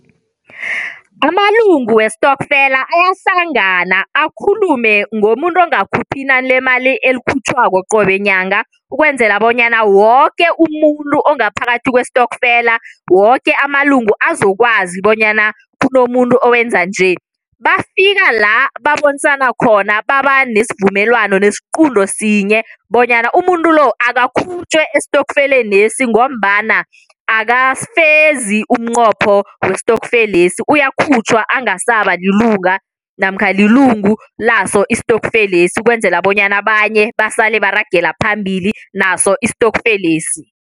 Amalungu westokfela ayahlangana akhulume ngomuntu ongakhuphi inani lemali ekhutjhwako qobe nyanga ukwenzela bonyana woke umuntu ongaphakathi kwestokfela, woke amalungu azokwazi bonyana kunomuntu owenza nje. Bafikala babonisana khona baba nesivumelwano, nesiqunto sinye bonyana umuntu lo, akakhutjhwe estofelenesi ngombana akafezi umqopho westokfelesi, uyakhutjhwa angasabalilunga namkha lilungu laso istokfelesi ukwenzela bonyana abanye basale baragela phambili naso istokfelesi.